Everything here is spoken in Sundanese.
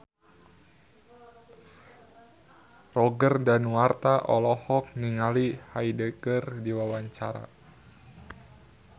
Roger Danuarta olohok ningali Hyde keur diwawancara